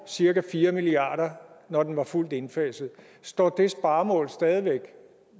cirka fire milliard kr når den var fuldt indfaset står det sparemål stadig væk